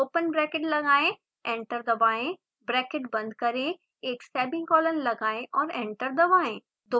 open bracket लगाएं enter दबाएं bracket बंद करें एक सेमीकोलन लगाएं और एंटर दबाएं